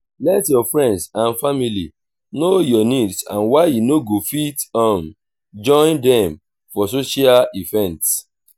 let your friends and family know your needs and why you no go fit um join them for some social events